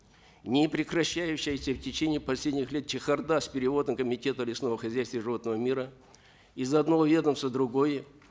непрекращающаяся в течение последних лет чехарда с переводом комитета лесного хозяйства и животного мира из одного ведомства в другое